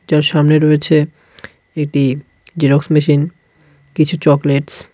যার সামনে রয়েছে এটি জেরক্স মেশিন কিছু চকলেটস .